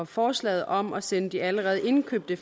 forslaget om at sende de allerede indkøbte